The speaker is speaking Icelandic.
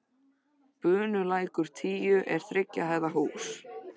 Bunulækur tíu er þriggja hæða hús.